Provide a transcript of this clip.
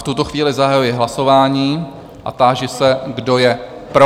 V tuto chvíli zahajuji hlasování a táži se, kdo je pro?